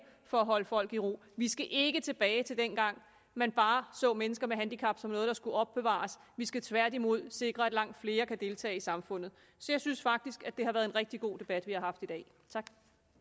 for at holde folk i ro vi skal ikke tilbage til dengang man bare så mennesker med handicap som noget der skulle opbevares vi skal tværtimod sikre at langt flere kan deltage i samfundet så jeg synes faktisk at det har været en rigtig god debat vi har haft i dag tak